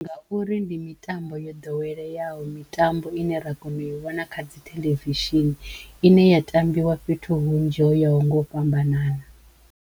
Ngauri ndi mitambo yo ḓoweleyaho mitambo ine ra kono u i vhona kha dzitheḽevishini ine ya tambiwa fhethu hunzhi ho ya ho ngo u fhambanana.